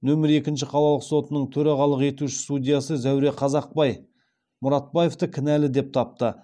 нөмір екінші қалалық сотының төрағалық етуші судьясы зәуре қазақбай мұратбаевты кінәлі деп тапты